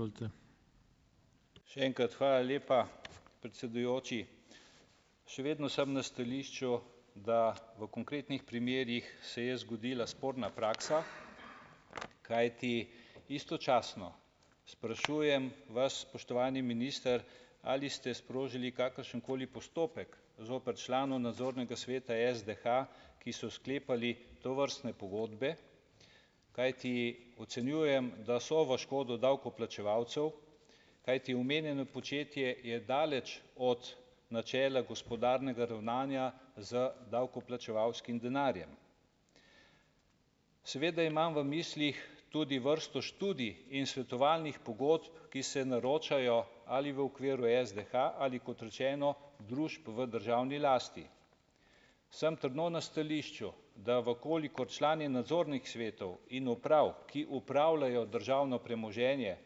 Še enkrat, hvala lepa, predsedujoči. Še vedno sem na stališču, da v konkretnih primerih se je zgodila sporna praksa, kajti istočasno sprašujem vas, spoštovani minister, ali ste sprožili kakršenkoli postopek zoper člane nadzornega sveta SDH, ki so sklepali tovrstne pogodbe. Kajti ocenjujem, da so v škodo davkoplačevalcev, kajti omenjeno početje je daleč od načela gospodarnega ravnanja z davkoplačevalskim denarjem. Seveda imam v mislih tudi vrsto študij in svetovalnih pogodb, ki se naročajo, ali v okviru SDH ali, kot rečeno, družb v državni lasti. Sem trdno na stališču, da v kolikor člani nadzornih svetov in uprav, ki upravljajo državno premoženje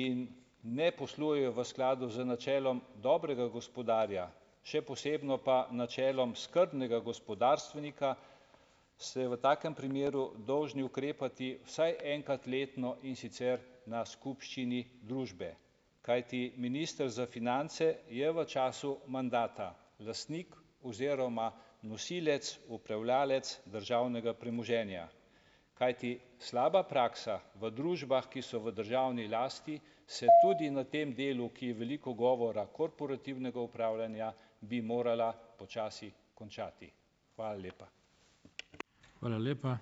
in ne poslujejo v skladu z načelom dobrega gospodarja, še posebno pa načelom skrbnega gospodarstvenika, ste v takem primeru dolžni ukrepati vsaj enkrat letno, in sicer na skupščini družbe, kajti minister za finance je v času mandata lastnik oziroma nosilec, upravljalec državnega premoženja. Kajti slaba praksa v družbah, ki so v državni lasti, se tudi na tem delu, ki je veliko govora korporativnega upravljanja, bi morala počasi končati. Hvala lepa.